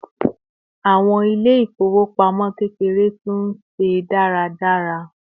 àwọn ilé ifowopamọ kekere tú n se dáradára